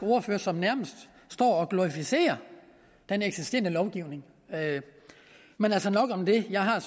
ordfører som nærmest står og glorificerer den eksisterende lovgivning men nok om det jeg har